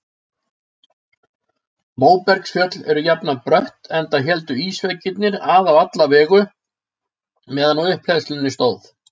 Móbergsfjöll eru jafnan brött enda héldu ísveggirnir að á alla vegu meðan á upphleðslunni stóð.